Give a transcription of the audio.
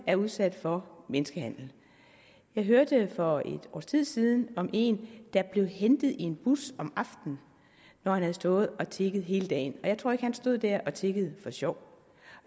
er udsat for menneskehandel jeg hørte for et års tid siden om en der blev hentet i en bus om aftenen når han havde stået og tigget hele dagen jeg tror ikke at han stod der og tiggede for sjov